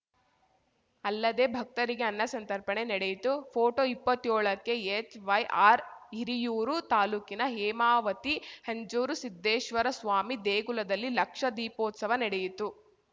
ಅಲ್ಲದೆ ಭಕ್ತರಿಗೆ ಅನ್ನ ಸಂತರ್ಪಣೆ ನಡೆಯಿತು ಫೋಟೋ ಇಪ್ಪತ್ಯೋಳಕೆಎಚ್‌ವೈಆರ್‌ ಹಿರಿಯೂರು ತಾಲೂಕಿನ ಹೇಮಾವತಿ ಹೆಂಜೇರು ಸಿದ್ದೇಶ್ವರಸ್ವಾಮಿ ದೇಗುಲದಲ್ಲಿ ಲಕ್ಷ ದೀಪೋತ್ಸವ ನೆಡೆಯಿತು